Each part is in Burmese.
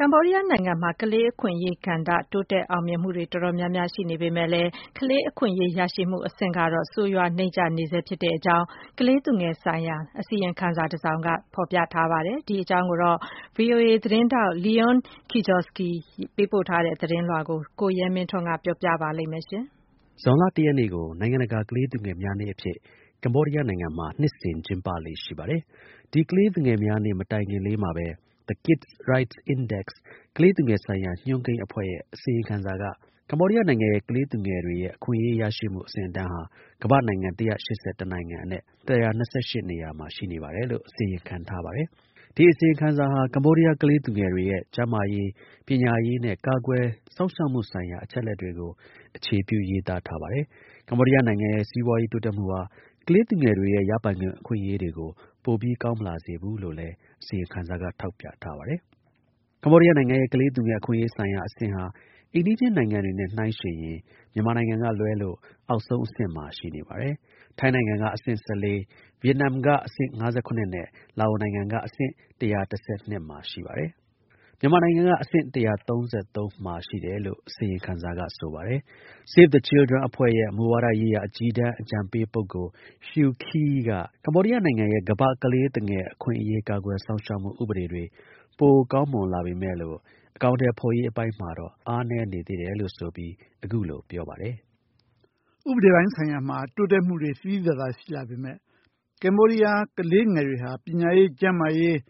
ကမ္ဘောဒီးယားနိုင်ငံမှာ ကလေးသူငယ် အခွင့်အရေးကဏ္ဍ တိုးတက်အောင်မြင်မှုတွေ တော်တော်များများ ရှိနေပေမဲ့လည်း ကလေးသူငယ်တွေရဲ့ အခွင့်အရေး ရရှိမှု အဆင့်အတန်းကတော့ ဆိုးရွားနိမ့်ကျနေဆဲ ဖြစ်တယ်လို့ ကလေးသူငယ်ဆိုင်ရာ အစီရင်ခံစာတစောင်က ဆိုပါတယ်။ ဒီ အကြောင်း ဗွီအိုအေ သတင်းထောက် Leonie Kijewski ပေးပိုထားတဲ့ သတင်းကို ကိုရဲမင်းထွန်းက တင်ပြပေးပါမယ်။ ဇွန်လ ၁ ရက်နေ့ကို နိုင်ငံတကာ ကလေးသူငယ်များနေ့အဖြစ် ကမ္ဘောဒီးယားနိုင်ငံက ကျင်းပလေ့ ရှိပါတယ်။ ဒီ ကလေးသူငယ်များနေ့ မတိုင်ခင်လေးမှာပဲ The KidsRights Index ကလေးသူငယ်ဆိုင်ရာ ညွှန်းကိန်းအဖွဲ့ရဲ့ အစီရင်ခံစာက ကမ္ဘောဒီးယားနိုင်ငံရဲ့ ကလေးသူငယ်တွေရဲ့ အခွင့်အရေး ရရှိမှု အဆင့်အတန်းဟာ ကမ္ဘာ့နိုင်ငံ ၁၈၁ နိုင်ငံအနက် ၁၂၈ နေရာမှာ ရှိနေပါတယ်လို့ အစီရင်ခံထားပါတယ်။ ဒီ အစီရင်ခံစာဟာ ကမ္ဘောဒီးယား ကလေးငယ်တွေရဲ့ ကျန်းမာရေး၊ ပညာရေးနဲ့ ကာကွယ်စောင့်ရှောက်မှုဆိုင်ရာ အချက်အလက်တွေကို အခြေပြု ရေးသားထားပြီး ကမ္ဘောဒီးယားနိုင်ငံရဲ့ စီးပွားရေး တိုးတက်မှုဟာ ကလေးသူငယ်တွေရဲ့ ရပိုင်ခွင့် အခွင့်အရေးတွေကို ပိုပြီး ကောင်းမလာစေဘူးလို့လည်း ထောက်ပြ ထားပါတယ်။ ကမ္ဘောဒီးယားနိုင်ငံရဲ့ ကလေးသူငယ်အခွင့်အရေးဆိုင်ရာ အဆင့်ဟာ အိမ်နီးချင်းနိုင်ငံတွေနဲ့ နှိုင်းယှဉ်ရင် မြန်မာနိုင်ငံကလွဲလို့ အောက်ဆုံးအဆင့်မှာ ရှိနေပါတယ်။ ထိုင်းနိုင်ငံက အဆင့် ၁၄၊ ဗီယက်နမ်က အဆင့် ၅၇နဲ့ လာအို နိုငငံက အဆင့် ၁၁၂ မှာ ရှိပါတယ်။ မြန်မာနိုင်ငံက အဆင့် ၁၃၃ မှာ ရှိတယ်လို့ အစီရင်ခံစာက ဆိုပါတယ်။ Save the Children အဖွဲ့ရဲ့ မူဝါဒရေးရာ အကြီးတန်း အကြံပေး ပုဂ္ဂိုလ် Huy Khy က ကမ္ဘောဒီးယားနိုင်ငံရဲ့ ကလေးသူငယ်အခွင့်အရေး ကာကွယ်စောင့်ရှောက်မှု ဥပဒေတွေ ပို ကောင်းမွန်လာပေမဲ့လို့ အကောင်အထည်ဖော်ရေး အပိုင်းမှာတော့ အားနည်းနေသေးတယ်လို့ ဆိုပြီး အခုလို ပြောပါတယ်။ "ဥပဒေပိုင်းဆိုင်ရာမှာ တိုးတက်မှုတွေ သိသိသာသာ ရှိလာပေမဲ့ ကမ္ဘောဒီးယား ကလေးငယ်တွေဟာ ပညာရေး၊ ကျန်းမာရေးနဲ့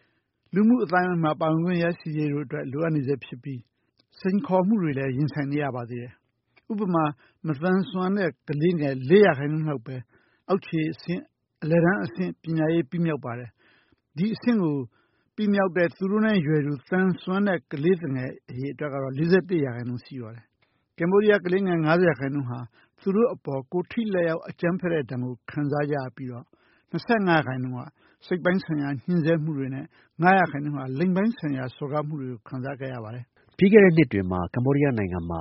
လူမှု အသိုင်းအဝန်းမှာ ပါဝင်ခွင့်ရဖို့ လိုအပ်နေဆဲ ဖြစ်ပါတယ်။ စိန်ခေါ်မှုတွေကို ရင်ဆိုင်နေရပါသေးတယ်။ ဥပမာ မသန်စွမ်းတဲ့ ကလေးငယ် ၄ ရာခိုင်နှုန်းပဲ အောက်ခြေ အလယ်တန်းအဆင့် ပညာရေး ပြီးမြောက်ပါတယ်။ ဒီ အဆင့်ကို ပြီးမြောက်တဲ့ သူတို့နဲ့ ရွယ်တူ သန်စွမ်းတဲ့ ကလေးတွေ ၄၁ ရာခိုင်နှုန်း ရှိပါတယ်။ ကိုယ်ထိလက်ရောက် အကြမ်းဖက်တဲ့ ဒဏ်ကို ကမ္ဘောဒီးယား ကလေးငယ် ၅၀ ရာခိုင်နှုန်း ခံစားကြရပြီး၊ ၂၅ ရာခိုင်နှုန်းက စိတ်ပိုင်းဆိုင်ရာ ညှင်းဆဲမှုတွေနဲ့ ၅ ရာခိုင်နှုန်းက လိင်ပိုင်းဆိုင်ရာ စော်ကားမှုတွေကို ခံစားခဲ့ရပါတယ်။ " ပြီးခဲ့တဲ့ နှစ်တွေမှာ ကမ္ဘောဒီးယားနိုင်ငံမှာ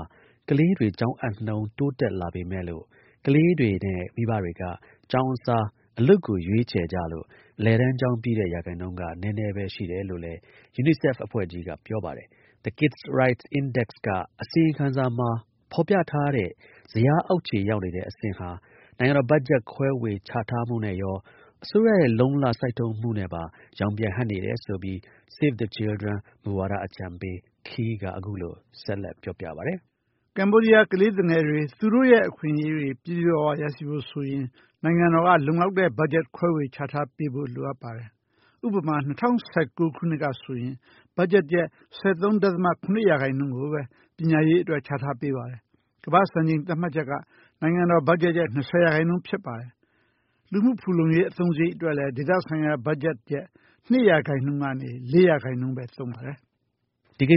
ကလေးငယ်တွေ ကျောင်းအပ်နှုန်း တိုးတက်လာပေမဲ့လို့ ကလေးငယ်တွေနဲ့ မိဘတွေက ကျောင်းအစား အလုပ်ကို ရွေးကြလို့ အလယ်တန်းကျောင်းပြီးတဲ့ ရာခိုင်နှုန်းက နည်းနည်းပဲ ရှှိတယ်လို့လည်း ယူနီဆက်ဖ် အဖွဲ့ကြီးက ပြောပါတယ်။ The KidsRights Index က အစီရင်ခံစာမှာ ဖော်ပြထားတဲ့ ဇယားအောက်ခြေရောက်နေတဲ့ အဆင့်ဟာ နိုင်ငံတော် ဘတ်ဂျက် ခွဲဝေချထားမှုနဲ့ရော အစိုးရရဲ့ လုံလ စိုက်ထုတ်နဲ့ပါ ရောင်ပြန်ဟပ်နေတယ်ဆိုပြီး Save the Children မူဝါဒ အကြံပေး Khy က အခုလို ထောက်ပြပါတယ်။ "ကမ္ဘောဒီးယား ကလေးသူငယ်တွေ သူတို့ရဲ့ အခွင့်အရေးတွေ ပြည့်ပြည့်ဝဝ ရရှိဖို့ဆိုရင် နိုင်ငံတော်က လုံလောက်တဲ့ ဘတ်ဂျက် ခွဲဝေချထားပေးဖို့ လိုပါတယ်။ ဥပမာ ၂၀၁၉ ခုနှစ်ဆိုရင် ဘတ်ဂျက်ရဲ့ ၁၃.၇ ရာခိုင်နှုန်းကိုပဲ ပညာရေးအတွက် ချထားပေးပါတယ်။ ကမ္ဘာ့ စံနှုန်းသတ်မှတ်ချက်က နိုင်ငံတော် ဘတ်ဂျက်ရဲ့ ၂၀ ရာခိုင်နှုန်း ဖြစ်ပါတယ်။ လူမှု ဖူလုံရေး အသုံးစရိတ်အတွက်လည်း ဒေသဆိုင်ရာ ဘတ်ဂျက်ရဲ့ ၂ ရာခိုင်နှုန်း ကနေ ၄ ရာခိုင်နှုန်းပဲ သုံးပါတယ်။" ကမ္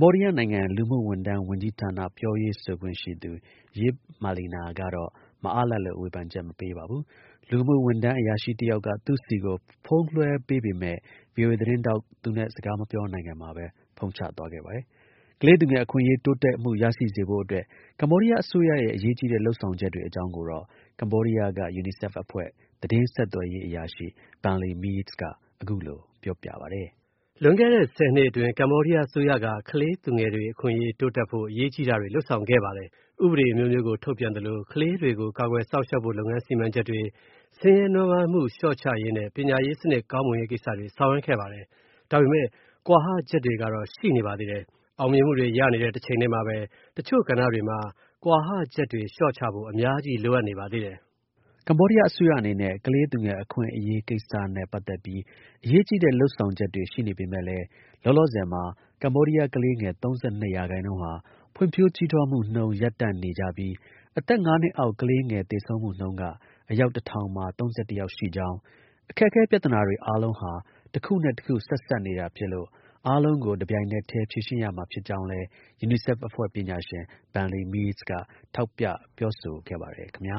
ဘောဒီးယား လူမှုဝန်ထမ်းဝန်ကြီးဌာန ပြောရေးဆိုခွင့်ရှိသူ Yeap Malina ကတော့ မအားလပ်လို့ ဝေဖန်ချက်မပေးပါဘူး။ လူမှုဝန်ထမ်း အရာရှိ တစ်ယောက်က သူ့ှဆီကို ဖုန်းလွှဲပေးပေမဲ့ VOA သတင်းထောက် သူနဲ့ စကားမပြောနိုင်ခင်မှာပဲ ဖုန်းချသွားခဲ့ပါတယ်။ ကလေးသူငယ် အခွင့်အရေး တိုးတက် ရရှိစေဖို့အတွက် ကမ္ဘောဒီးယား အစိုးရရဲ့ အရေးကြီးတဲ့ လုပ်ဆောင်ချက်တွေအကြောင်းကိုတော့ ကမ္ဘောဒီးယားက UNICEF အဖွဲ့ သတင်းဆက်သွယ်ရေး အရာရှိ Bunly Meas က အခုလို ပြောပါတယ်။ "လွန်ခဲ့တဲ့ ၁၀ နှစ်အတွင်း ကမ္ဘောဒီးယား အစိုးရက ကလေးသူငယ်အခွင့်အရေးတိုးတက်ဖို့ အရေးကြီးတာတွေ လုပ်ဆောင်ခဲ့ပါတယ်။ ဥပဒေ အမျိုးမျိုးကို ထုတ်ပြန်သလို ကလေးတွေကို ကာကွယ် စောင့်ရှောက်ဖို့ လုပ်ငန်း စီမံချက်တွေ၊ ဆင်းရဲနွမ်းပါးမှု လျှော့ချရေးနဲ့ ပညာရေးစနစ် ကောင်းမွန်ရေးကိစ္စတွေ ဆောင်ရွက်ခဲ့ပါတယ်။ ဒါပေမဲ့ ကွာဟချက်တွေကတော့ ရှိနေပါသေးတယ်။ အောင်မြင်မှုတွေ ရနေတဲ့ တစ်ချိန်တည်းမှာပဲ တစ်ချို့ ကဏ္ဍတွေမှာ ကွာဟချက်တွေ လျှော့ချဖို့ အများကြီး လိုနေပါသေးတယ်။" ကမ္ဘောဒီးယား အစိုးရအနေနဲ့ ကလေးသူငယ် အခွင့်အရေးဆိုင်ရာ လုပ်ဆောင်ချက်ရှိနေပေမဲ့လည်း လောလောဆယ်မှာ ကမ္ဘောဒီးယား ကလေးငယ် ၃၂ ရာခိုင်နှုန်းဟာ ဖွံ့ဖြိုးကြီးထွားမှုနှုန်း ရပ်တံ့နေပြီး အသက် ၅ နှစ်အောက် ကလေးငယ် သေဆုံးမှုနှုန်းက အယောက် ၁၀၀၀ မှာ ၃၁ ယောက် ရှိကြောင်း အခက်အခဲ ပြဿနာတွေ အားလုံး တစ်ခုနဲ့တစ်ခု ဆက်စပ်နေတာဖြစ်လို့ အားလုံးကို တစ်ပြိုင်တည်း ဖြေရှင်းရမှာဖြစ်ကြောင်းလည်း ယူနီဆက်အဖွဲ့ ပညာရှင် Bunly Meas က ထောက်ပြပြောဆိုခဲ့ပါတယ် ခင်ဗျာ